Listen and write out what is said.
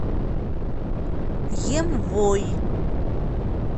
емвой